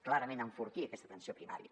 clarament enfortir aquesta atenció primària